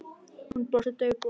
Hún brosti daufu brosi.